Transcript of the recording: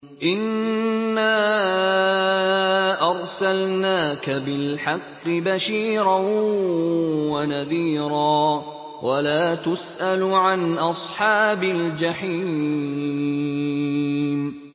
إِنَّا أَرْسَلْنَاكَ بِالْحَقِّ بَشِيرًا وَنَذِيرًا ۖ وَلَا تُسْأَلُ عَنْ أَصْحَابِ الْجَحِيمِ